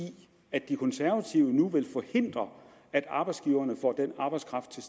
at de konservative nu vil forhindre at arbejdsgiverne får den arbejdskraft til